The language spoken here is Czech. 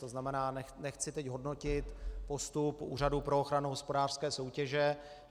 To znamená, nechci teď hodnotit postup Úřadu pro ochranu hospodářské soutěže.